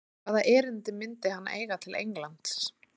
Hvaða erindi myndi hann eiga til Englands?